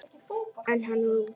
En hann var úti.